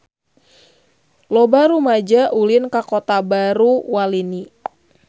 Loba rumaja ulin ka Kota Baru Walini